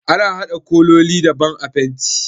Ana haɗa kololi daban a fenti